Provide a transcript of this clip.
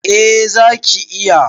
A zaki iya